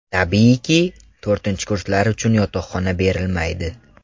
Tabiiyki, to‘rtinchi kurslar uchun yotoqxona berilmaydi.